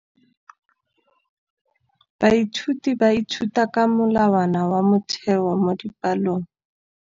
Baithuti ba ithuta ka molawana wa motheo mo dipalong.